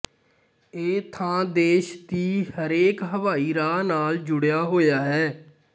ਇਹ ਥਾਂ ਦੇਸ਼ ਦੀ ਹਰੇਕ ਹਵਾਈ ਰਾਹ ਨਾਲ ਜੁੜਿਆ ਹੋਇਆ ਹੈ